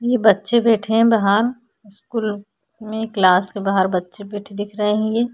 यह बच्चे बैठे हैं बाहर स्कूल में क्लास के बाहर बच्चे बेठे दिख रहे हैं ये।